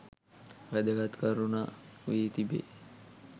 වැදගත් කරුණක් වී තිබේ.